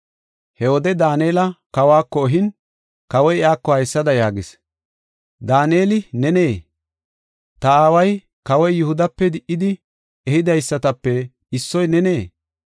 He wode Daanela kawako ehin, kawoy iyako haysada yaagis: “Daaneli nenee? Ta aaway, kawoy Yihudape di77idi ehidaysatape issoy nenee?